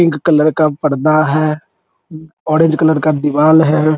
Pink colour का पर्दा है ऑरेंज कलर का दिवाल है।